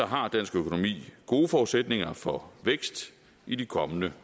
har dansk økonomi gode forudsætninger for vækst i de kommende